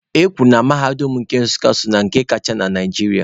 E kwuru na mahadum nke Nsukka so na nke kacha na Naịjirịa.